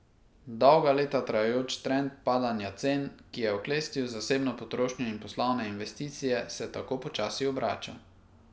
Dolga leta trajajoč trend padanja cen, ki je oklestil zasebno potrošnjo in poslovne investicije, se tako počasi obrača.